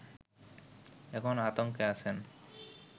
এখন আতংকে আছেন